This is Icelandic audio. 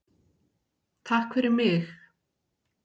TAKK FYRIR MIG.